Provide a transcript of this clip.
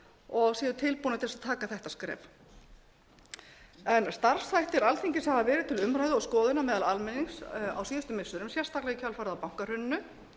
og séu tilbúnir til þess að taka þetta skref starfshættir alþingis hafa verið til umræðu og skoðunar meðal almennings á síðustu missirum sérstaklega í kjölfarið á bankahruninu